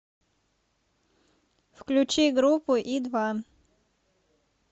включи группу и два